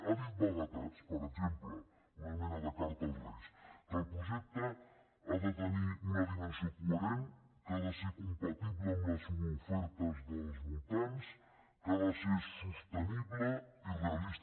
ha dit vaguetats per exemple una mena de carta als reis que el projecte ha de tenir una dimensió coherent que ha de ser compatible amb les ofertes dels voltants que ha de ser sostenible i realista